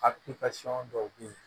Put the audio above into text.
dɔw bɛ yen